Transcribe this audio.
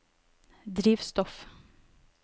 drivstoff